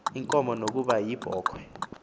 inkomo nokuba yibhokhwe